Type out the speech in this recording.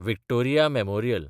Victoria memorial